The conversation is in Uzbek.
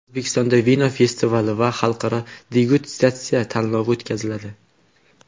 O‘zbekistonda vino festivali va xalqaro degustatsiya tanlovi o‘tkaziladi.